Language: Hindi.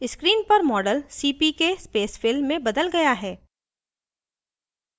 screen पर model cpk spacefill में बदल गया है